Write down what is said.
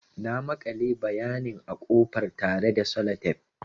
Na makale bayanin a ƙofar tare da Sellotape.